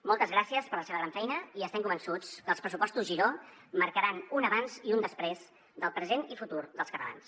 moltes gràcies per la seva gran feina i estem convençuts que els pressupostos giró marcaran un abans i un després del present i futur dels catalans